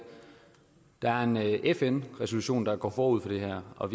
der er en fn resolution der går forud for det her og